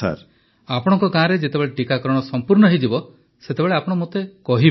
ପ୍ରଧାନମନ୍ତ୍ରୀ ଆପଣଙ୍କ ଗାଁରେ ଯେତେବେଳେ ଟିକାକରଣ ସଂପୂର୍ଣ୍ଣ ହେଇଯିବ ସେତେବେଳେ ମୋତେ ଆପଣ କହିବେ